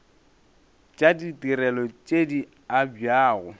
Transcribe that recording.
tša ditirelo tše di abjago